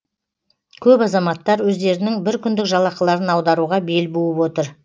көп азаматтар өздерінің біркүндік жалақыларын аударуға бел буып отыр